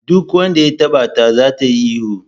Duk wanda ya taba ta za ta yi ihu.